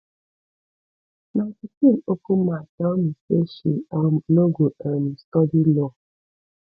my pikin open mouth tell me say she um no go um study law